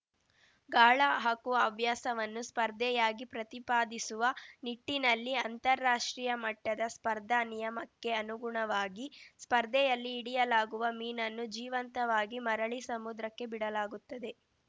ಗಾಳ ಹಾಕುವ ಹವ್ಯಾಸವನ್ನು ಸ್ಪರ್ಧೆಯಾಗಿ ಪ್ರತಿಪಾದಿಸುವ ನಿಟ್ಟಿನಲ್ಲಿ ಅಂತಾರಾಷ್ಟ್ರೀಯ ಮಟ್ಟದ ಸ್ಪರ್ಧಾ ನಿಯಮಕ್ಕೆ ಅನುಗುಣವಾಗಿ ಸ್ಪರ್ಧೆಯಲ್ಲಿ ಹಿಡಿಯಲಾಗುವ ಮೀನನ್ನು ಜೀವಂತವಾಗಿ ಮರಳಿ ಸಮುದ್ರಕ್ಕೆ ಬಿಡಲಾಗುತ್ತದೆ